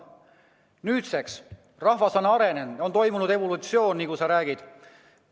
Nüüdseks on rahvas arenenud, on toimunud evolutsioon, nagu sa ütlesid.